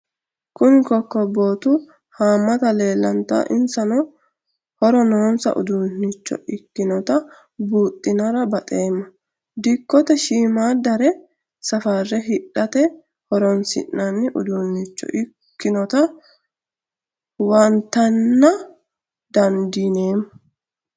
Kuni kokobotu hamate leelanta insano horo nonsa udunicho ikinota buxinara baxema dikote shimadare safare hidhate horonsinani udunicho ikinota huwantana dandinemo